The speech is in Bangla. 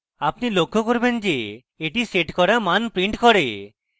আপনি লক্ষ্য করবেন যে এটি set করা মান prints করে